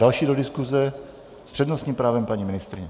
Další do diskuze s přednostním právem paní ministryně.